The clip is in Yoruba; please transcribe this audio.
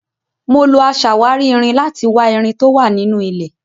Mo lo aṣàwárí irin láti wa irin tó wà nínú ilẹ̀.